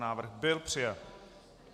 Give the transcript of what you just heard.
Návrh byl přijat.